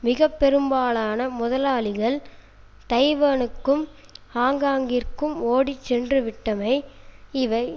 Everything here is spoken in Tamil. மிக பெரும்பாலான முதலாளிகள் தைவானுக்கும் ஹாங்காங்கிற்கும் ஓடிச்சென்றுவிட்டமை இவை